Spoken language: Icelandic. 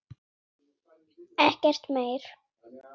Ekkert meir.